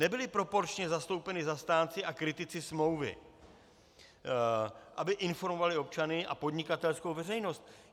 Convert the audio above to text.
Nebyli proporčně zastoupeni zastánci a kritici smlouvy, aby informovali občany a podnikatelskou veřejnost.